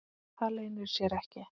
Það leynir sér ekki.